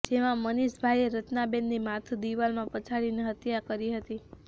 જેમાં મનિષભાઇએ રચનાબેનની માથુ દિવાલમાં પછાડીને હત્યા કરી હતી